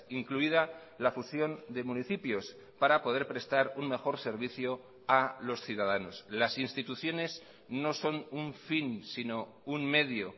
incluida la fusión de municipios para poder prestar un mejor servicio a los ciudadanos las instituciones no son un fin sino un medio